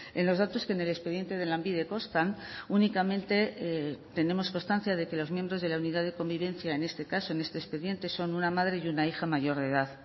en los datos que en el expediente de lanbide constan únicamente tenemos constancia de que los miembros de la unidad de convivencia en este caso en este expediente son una madre y una hija mayor de edad